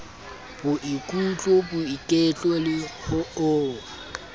boikutlo boiketlo le ho o